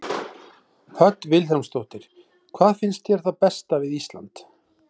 Hödd Vilhjálmsdóttir: Hvað finnst þér það besta við Ísland?